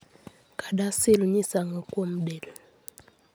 CADASIL nyiso ang'o kuom del?